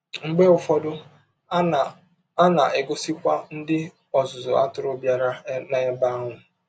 Mgbe ụfọdụ, a na a na - egọsikwa ndị ọzụzụ atụrụ bịara n’ebe ahụ.